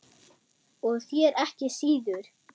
Og þér ekki síður